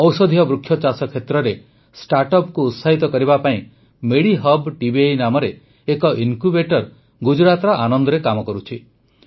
ଔଷଧୀୟ ବୃକ୍ଷ ଚାଷ କ୍ଷେତ୍ରରେ ଷ୍ଟାର୍ଟଅପକୁ ଉତ୍ସାହିତ କରିବା ପାଇଁ ମେଡିହବ୍ ଟିବିଆଇ ନାମରେ ଏକ ଇନକ୍ୟୁବେଟର ଗୁଜରାତର ଆନନ୍ଦରେ କାମ କରୁଛି